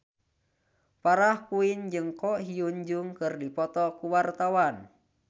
Farah Quinn jeung Ko Hyun Jung keur dipoto ku wartawan